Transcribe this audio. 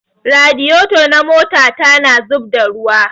Radiyeto na mota ta na zubadda ruwa